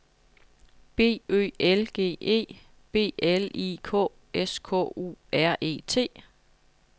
B Ø L G E B L I K S K U R E T